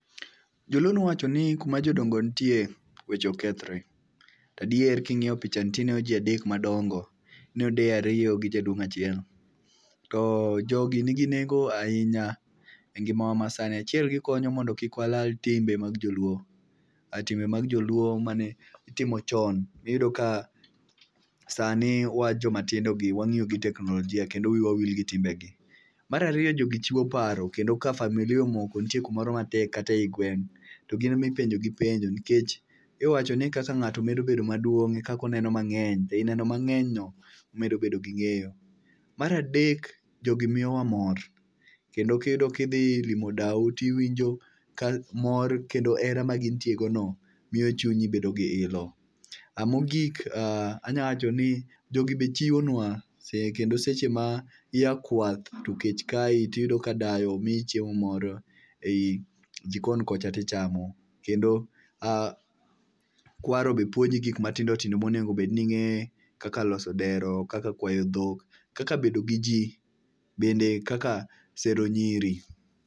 Joluo nowacho ni kuma jodongo nitie weche ok kethree. To adier king'iyo pichani to ineno ji adek madongo. Ineno deye ariyo gi jaduong' achiel. To jogi nigi nengo ahinya e ngimawa masani. Achiel, gikonyo mondo kik wala timbe mag joluo. Timbe mag joluo mane itimo chon, iyudo ka sani, wan jomatindogi wang'iyo gi teknolojia, kendo wiwa wil gi timbegi. Mar ariyo jogi chiwo paro kendo ka familia omoko, nitie kamoro matek kata ei gweng' to gin ema ipenjogi penjo nikech iwacho ni kaka ng'ato medo bedo maduong' ekaka oneno mang'eny. Be eneno mang'eny no imedo bedo gi ng'eyo. Mar adek, jogi miyowa mor kendo ka idhi limo dau to iwinjo ka mor kendo hera ma gintiegono miyo chunyi bedo gi ilo. Mogik anyalo wachoni jogi be chiwonua, seche mia kwath to kech kayi iyudo ka dayo miyi chiemo moro ei jikon kocha to ichamo. Kendo kwaro be puonji gik matindo tindo monego bed ni ing'eyo kaka loso dero, kaka kwayo dhok, kaka bedo giji bende kaka sero nyiri.